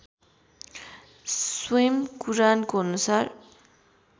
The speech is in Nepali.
स्वयं कुरानको अनुसार